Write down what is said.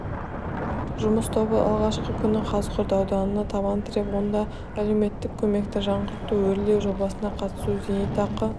жұмыс тобы алғашқы күні қазығұрт ауданына табан тіреп онда әлеуметтік көмекті жаңғырту өрлеу жобасына қатысу зейнетақы